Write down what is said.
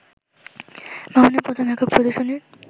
মামুনের প্রথম একক প্রদর্শনীর